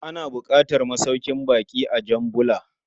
Ana buƙatar masaukin bakƙi a Jan Bula.